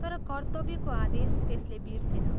तर कर्त्तव्यको आदेश त्यसले बिर्सेन।